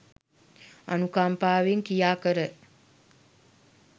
අනුකම්පාවෙන් ක්‍රියාකර